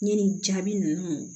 Ɲinini jaabi ninnu